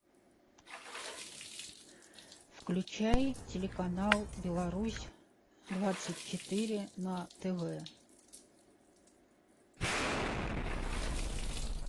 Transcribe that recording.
включай телеканал беларусь двадцать четыре на тв